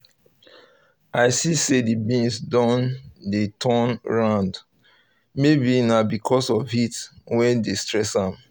i see say the beans don dey turn round maybe na because of heat wey dey stress am